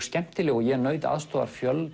skemmtileg og ég naut aðstoðar fjölda